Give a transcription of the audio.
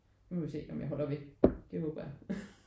Nu må vi se om jeg holder ved det håber jeg